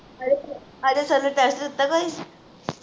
Ajay sir Ajay sir ਨੇ test ਲਿੱਤਾ ਕੋਈ?